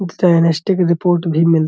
NST. की report भी मिल --